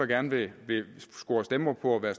gerne vil score stemmer på at være